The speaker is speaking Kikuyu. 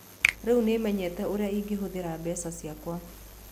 Rĩu nĩ menyete ũrĩa ingĩhũthĩra mbeca ciakwa.